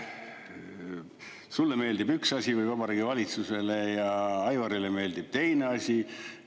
Sulle meeldib üks asi või Vabariigi Valitsusele ja Aivarile meeldib teine asi.